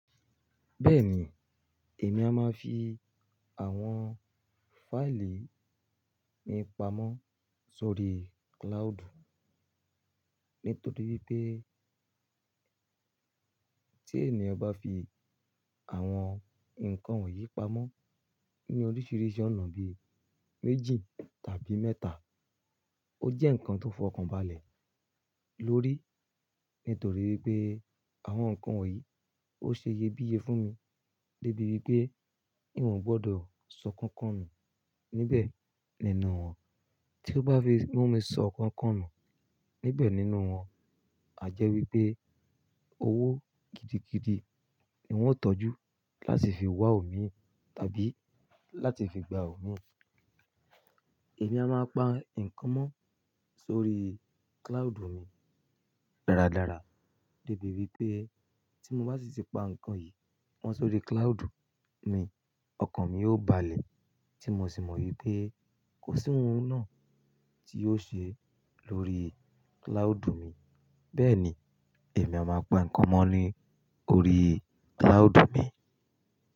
Bẹ́ẹ̀ni, èmi a má fi àwọn fáìlì mi pamọ́ sórí cloud nítorí wípé tí ènìyàn bá fi àwọn ǹkan wọ̀nyí pamọ́ ní oríṣìíríṣìí ọ̀nà bí méjì tàbí mẹ́ta, ó jẹ́ ǹkan tó fo ọkàn balẹ̀ lórí. Nítorí wípé àwọn ǹkan wọ̀nyí ó ṣe iyebíye fún mi débi wípé mi ò gbọdọ̀ sọ nkankan nù níbẹ̀ nínú wọn. Tí ó bá fi mú mi sọ nkankan nù níbẹ̀ nínú wọn, àjẹ́ wípé owó gidigidi ni wọ́n ó tọ́jú láti fi wá omi tàbí láti fi gba omi. Èmi a máa pa ǹkan mọ́ sórí cloud mi dáradára debi wípé tí mo bá sì ti pa ǹkan yìí mọ́ sórí cloud mi, ọkàn mi ó balẹ̀ tí mo sì mọ̀ wípé kò sí ohun náà tí yiò ṣe lórí cloud mi. Bẹ́ẹ̀ ni èmi a máa pa ǹkan mọ́ ni ori cloud mi.